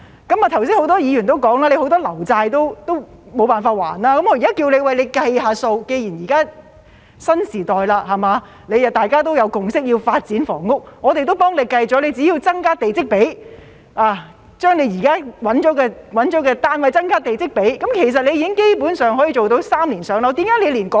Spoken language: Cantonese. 剛才很多議員也表示，局長很多"樓債"也償還不到，既然現在是新時代，大家也有共識要發展房屋，我們已替局長計算過，只要增加地積比，將現在找到的土地增加地積比，其實基本上可以做到"三年上樓"。